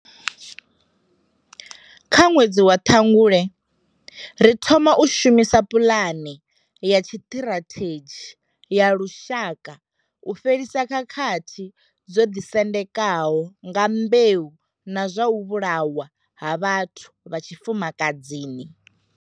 Kha ṅwedzi wa Ṱhangule, ri thoma u shumisa puḽane ya tshiṱirathedzhi ya lushaka u fhelisa khakhathi dzo ḓisendekaho nga mbeu na zwa u vhulawa ha vhathu vha tshifumakadzini.